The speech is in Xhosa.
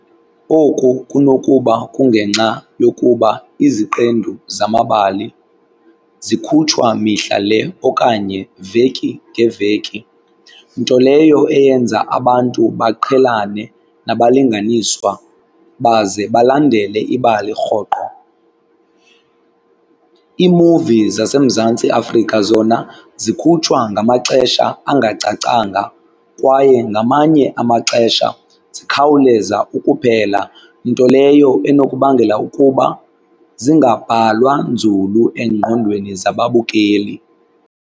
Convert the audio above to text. Oku kunokuba kungenxa yokuba iziqendu zamabali zikhutshwa mihla le okanye veki ngeveki nto leyo eyenza abantu baqhelane nabalinganiswa baze balandele ibali rhoqo. Iimuvi zaseMzantsi Afrika zona zikhutshwa ngamaxesha angacacanga kwaye ngamanye amaxesha zikhawuleza ukuphela nto leyo enokubangela ukuba zingabhalwa nzulu engqondweni zababukeli.